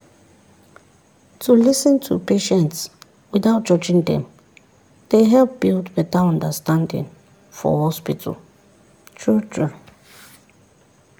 to lis ten to patients without judging dem dey help build better understanding for hospital true-true.